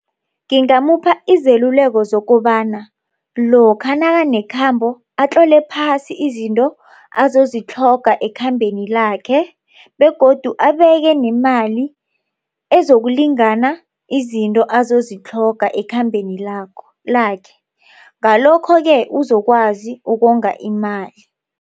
Ngimupha izeluleko zokobana lokha nakanekhambo atlole phasi izinto azozitlhoga ekhambeni lakhe begodu abekenemali ezokulingana izinto azozitlhoga ekhambeni lakhe. Ngalokho-ke uzokwazi ukonga imali.